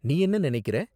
நீ என்ன நினைக்கிற?